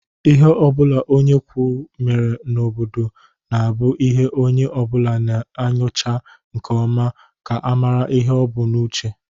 lhe obula onye ukwu mere n'obodo na-abu ihe onye obula na-enyocha nke oma ka a mara ihe o bu n'uche.